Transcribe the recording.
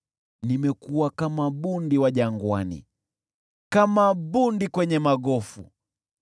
Nimekuwa kama bundi wa jangwani, kama bundi kwenye magofu.